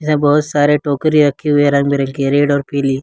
यहां बहुत सारे टोकरी रखी हुई है रंग बिरंगी रेड और पीली।